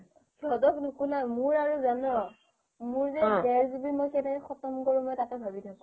সিহঁতক নোকোলাই মোৰ আৰু জান মোৰ যে দেৰ GB মোৰ কেনেকে খতম কৰো তাকেই ভাবি থাকো